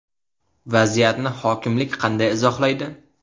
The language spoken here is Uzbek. Vaziyatni hokimlik qanday izohlaydi?